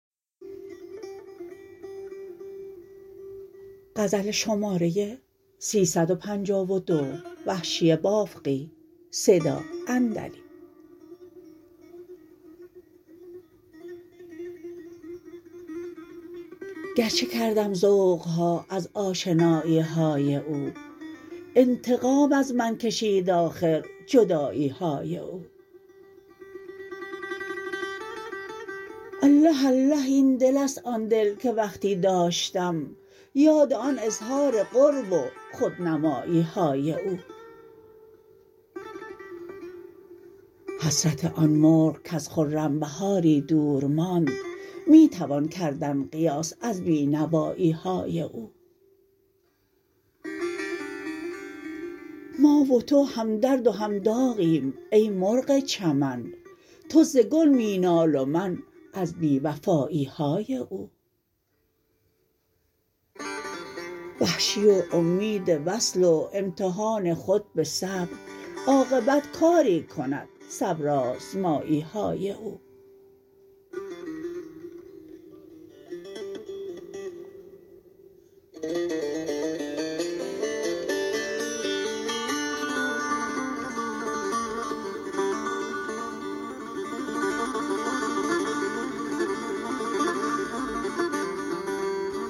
گرچه کردم ذوق ها از آشنایی های او انتقام از من کشید آخر جدایی های او اله اله این دل است آن دل که وقتی داشتم یاد آن اظهار قرب و خودنمایی های او حسرت آن مرغ کز خرم بهاری دور ماند می توان کردن قیاس از بی نوایی های او ما و تو هم درد و هم داغیم ای مرغ چمن تو ز گل می نال و من از بی وفایی های او وحشی و امید وصل و امتحان خود به صبر عاقبت کاری کند صبرآزمایی های او